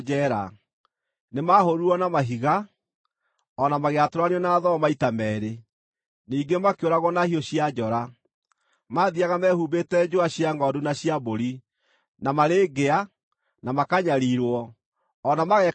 Nĩmahũũrirwo na mahiga; o na magĩatũranio na thoo maita meerĩ; ningĩ makĩũragwo na hiũ cia njora. Maathiiaga mehumbĩte njũa cia ngʼondu na cia mbũri, na marĩ ngĩa, na makanyariirwo, o na magekagwo ũũru;